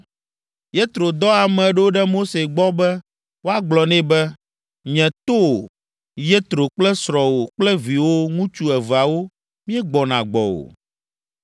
Yetro dɔ ame ɖo ɖe Mose gbɔ be woagblɔ nɛ be, “Nye towò, Yetro kple srɔ̃wò kple viwò ŋutsu eveawo míegbɔna gbɔwò.”